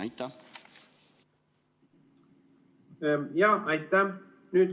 Aitäh!